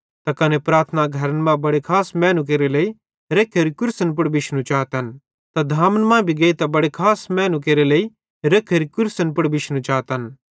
त कने प्रार्थना घरन मां बड़े खास मैनू केरे लेइ रख्खोरी कुर्सी पुड़ बिशनू चातन त धामन मां भी गेइतां बड़े खास मैनू केरे लेइ रख्खोरी कुर्सी पुड़ बिशनू चातन